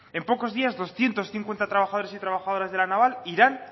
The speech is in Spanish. en pocos días doscientos cincuenta trabajadores y trabajadoras de la naval irán